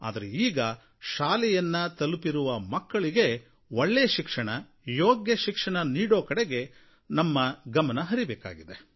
ಆದರೆ ಈಗ ಶಾಲೆಯನ್ನು ತಲುಪಿರುವ ಮಕ್ಕಳಿಗೆ ಒಳ್ಳೆಯ ಶಿಕ್ಷಣ ಯೋಗ್ಯ ಶಿಕ್ಷಣ ನೀಡೋ ಕಡೆಗೆ ನಾವು ಗಮನ ಹರಿಸಬೇಕಾಗಿದೆ